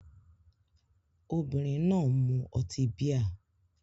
Obìnrin náà ń mu ọtí bíà